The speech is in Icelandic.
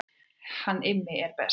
Hann er Immi best.